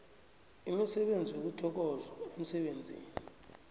imisebenzi yokuthokozwa emsebenzini